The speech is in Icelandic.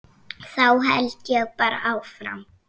Þá held ég bara áfram.